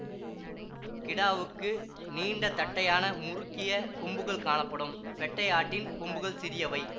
கிடாவுக்கு நீண்ட தட்டையான முறுக்கிய கொம்புகள் காணப்படும் பெட்டை ஆட்டின் கொம்புகள் சிறியவை